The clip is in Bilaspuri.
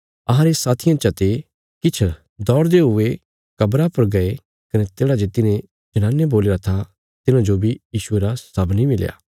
अहांरे साथियां चा ते किछ दौड़दे हुए कब्रा पर गये कने तेढ़ा जे तिन्हे जनाने बोल्लीरा था तिन्हाजो बी यीशुये रा शव नीं मिलया